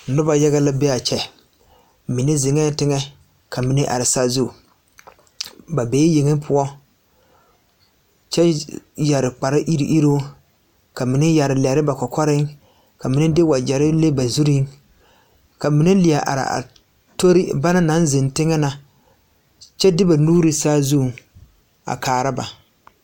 Nobɔ mine zeŋɛɛ teŋɛ ka mine are saazu ba bee yeŋe poɔ kyɛ yɛre kparre iruŋiruŋ ka mine yɛre lɛre ba kɔkɔre ka mine de wagyɛrre le ba zurreŋ ka mine lie are a tori banaŋ naŋ zeŋ teŋɛ na kyɛ de ba nuure saazuŋ a kaara ba.